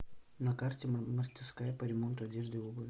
на карте мастерская по ремонту одежды и обуви